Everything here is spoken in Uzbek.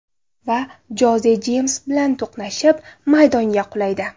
Va Joze Jeyms bilan to‘qnashib, maydonga qulaydi.